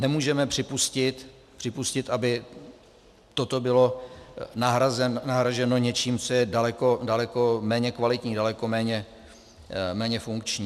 Nemůžeme připustit, aby toto bylo nahrazeno něčím, co je daleko méně kvalitní, daleko méně funkční.